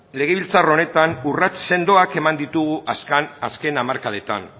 legebiltzar honetan urrats sendoak eman ditugu azken hamarkadetan